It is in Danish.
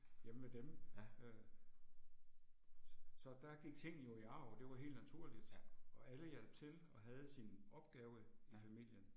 Hjemme ved dem, øh. Så der gik ting jo i arv og det var helt naturligt. Og alle hjalp til og havde sin opgave i familien